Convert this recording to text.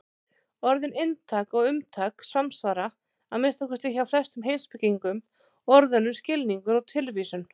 Orðin inntak og umtak samsvara, að minnsta kosti hjá flestum heimspekingum, orðunum skilningur og tilvísun.